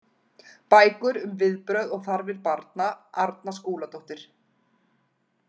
Bækur um viðbrögð og þarfir barna Arna Skúladóttir.